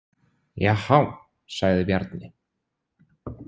Jahá, sagði Bjarni.